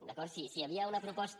d’acord si hi havia una proposta